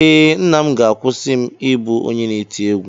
Ee, nna m ga-akwụsị m ịbụ onye na-eti egwú.